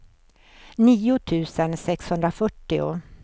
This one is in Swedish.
nio tusen sexhundrafyrtio